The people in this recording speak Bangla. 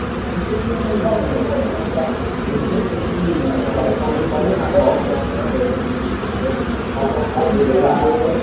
আমাকে কিসের জন্য মানে গিয়েছিলিস কিছু project ছিল নাকি আর বল কালকে result বেরোলে